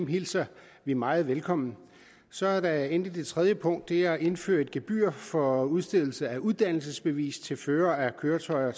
hilser vi meget velkommen så er der endelig det tredje punkt det er at indføre et gebyr for udstedelse af uddannelsesbevis til førere af køretøjer